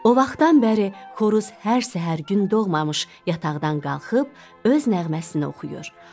O vaxtdan bəri xoruz hər səhər gün doğmamış yataqdan qalxıb öz nəğməsini oxuyur.